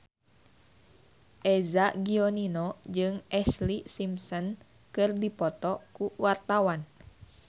Eza Gionino jeung Ashlee Simpson keur dipoto ku wartawan